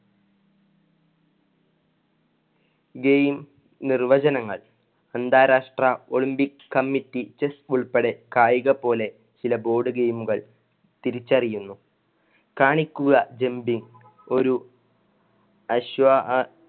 game നിർവചനങ്ങൾ അന്താരാഷ്ട്ര olympic committee ഉൾപ്പടെ കായിക പോലെ ചില board game കള്‍ തിരിച്ചറിയുന്നു. കാണിക്കുക jumping ഒരു അശ്വ ആ~